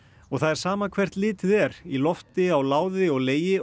og það er sama hvert litið er í lofti á láði og legi